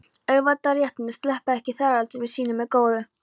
Auðvaldsstéttirnar sleppa ekki þrælatökum sínum með góðu.